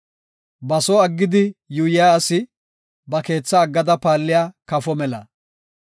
Ba soo aggidi yuuyiya asi, ba keethaa aggada paalliya kafo mela.